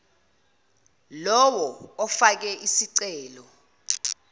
lowo ofake isicelo